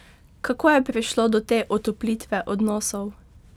Kako je prišlo do te otoplitve odnosov?